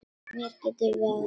Mig geturðu varið.